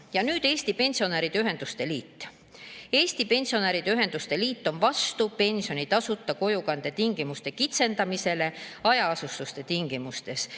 Ja nüüd Eesti Pensionäride Ühenduste Liit: "Eesti Pensionäride Ühenduste Liit on vastu pensioni tasuta kojukande tingimuste kitsendamisele hajaasustuse tingimustes.